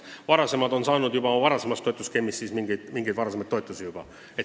Vanemate seadmete omanikud on juba saanud abi mingi varasema toetusskeemi järgi.